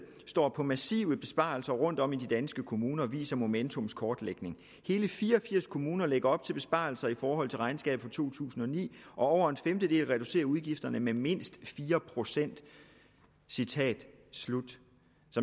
står på massive besparelser rundt om i de danske kommuner viser momentums kortlægning hele fire og firs kommuner lægger op til besparelser i forhold til regnskabet for to tusind og ni og over en femtedel reducerer udgifterne med mindst fire procent så